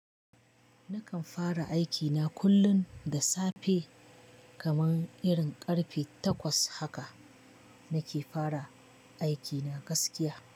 Nakan fara aikina kullum da safe kaman irin ƙarfe takwas haka nake fara aikina gaskiya.